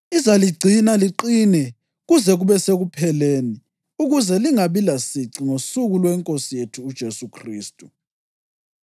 Izaligcina liqinile kuze kube sekupheleni ukuze lingabi lasici ngosuku lweNkosi yethu uJesu Khristu.